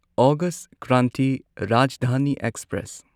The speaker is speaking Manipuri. August Kranti Rajdhani express